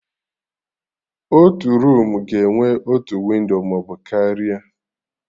Otu roomu ga-enwe otu windo maọbụ karịa